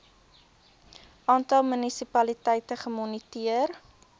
aantal munisipaliteite gemoniteer